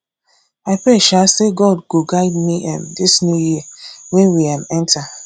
i pray um say god go guide me um dis new year wey we um enter